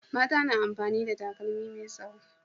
Mata na amfani da takalmi me tsaho